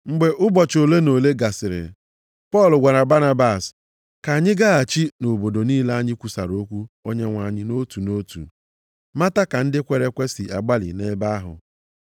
Mgbe ụbọchị ole na ole gasịrị, Pọl gwara Banabas, “Ka anyị gaghachi nʼobodo niile anyị kwusara okwu Onyenwe anyị nʼotu nʼotu, mata ka ndị kwere ekwe si agbalị nʼebe ahụ.”